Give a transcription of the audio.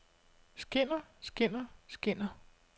skinner skinner skinner